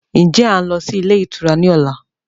Ń jẹ́ a ń lọ sí ilé ìtura ni ọ̀la?